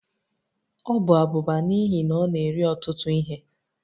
Ọ bụ abụba n'ihi na ọ na-eri ọtụtụ ihe